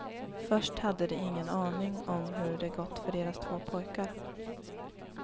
Först hade de ingen aning om hur det gått för deras två pojkar.